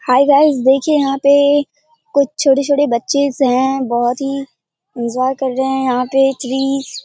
हाय guys देखिए यहां पे कुछ छोटे-छोटे बच्चेस हैं बहुत ही इंजॉय कर रहे हैं यहां पे ट्रीज --